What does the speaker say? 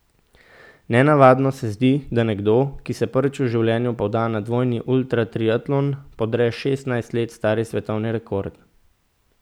Nenavadno se zdi, da nekdo, ki se prvič v življenju poda na dvojni ultratriatlon, podre šestnajst let star svetovni rekord.